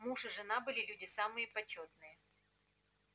муж и жена были люди самые почётные